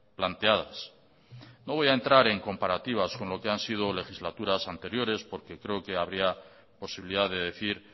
planteadas no voy a entrar en comparativas con lo que han sido legislaturas anteriores porque creo que habría posibilidad de decir